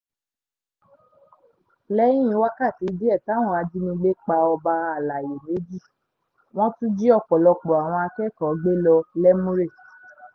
lẹ́yìn wákàtí díẹ̀ táwọn ajínigbé pa ọba àlàyé méjì wọ́n tún jí ọ̀pọ̀lọpọ̀ àwọn akẹ́kọ̀ọ́ gbé lọ lẹ́múrè